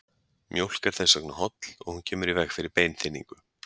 Mjólk er þess vegna holl og hún kemur í veg fyrir beinþynningu.